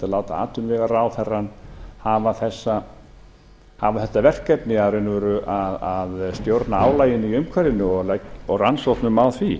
láta atvinnuvegaráðherrann hafa þetta verkefni í raun og veru að stjórna álaginu í umhverfinu og rannsóknum á því